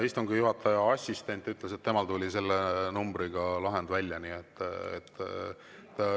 Istungi juhataja assistent ütles, et temal tuli selle numbriga lahend välja.